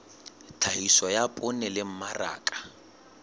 tlhahiso ya poone le mmaraka